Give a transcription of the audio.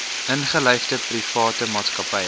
ingelyfde private maatskappye